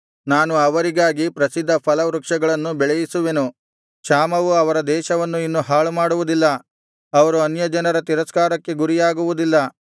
ನಾನು ಅವರಿಗಾಗಿ ಪ್ರಸಿದ್ಧ ಫಲವೃಕ್ಷಗಳನ್ನು ಬೆಳೆಯಿಸುವೆನು ಕ್ಷಾಮವು ಅವರ ದೇಶವನ್ನು ಇನ್ನು ಹಾಳುಮಾಡುವುದಿಲ್ಲ ಅವರು ಅನ್ಯಜನರ ತಿರಸ್ಕಾರಕ್ಕೆ ಗುರಿಯಾಗುವುದಿಲ್ಲ